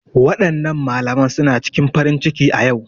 Waɗannan malaman suna cikin farin ciki a ƴau